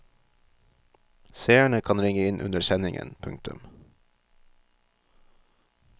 Seerne kan ringe inn under sendingen. punktum